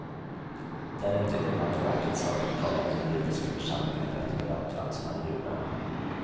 Det är inte invandrarverkets sak att kolla om den judiska församlingen rätt bedömt vem som är jude.